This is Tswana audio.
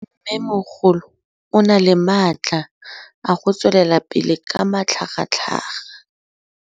Mmêmogolo o na le matla a go tswelela pele ka matlhagatlhaga.